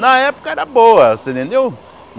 Na época era boa, você entendeu?